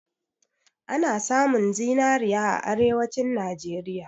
Ana samun zinari a arewanci Najeriya